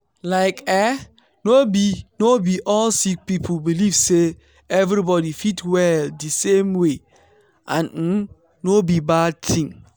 like eeh no be no be all sick people believe say everybody fit well di same way and um no be bad tin.